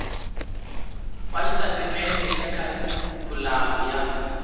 wa xitatimendhe xa kharikhulamu ya